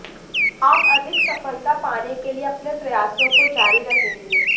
आप अधिक सफलता पाने के लिये अपने प्रयासों को जारी रखेंगे